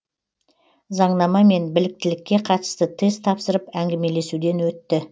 заңнама мен біліктілікке қатысты тест тапсырып әңгімелесуден өтті